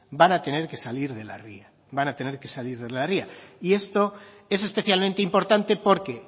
van a tener que salir de la ría van a tener que salir de la ría y esto es especialmente importante porque